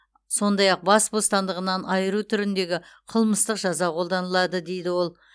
сондай ақ бас бостандығынан айыру түріндегі қылмыстық жаза қолданылады дейді ол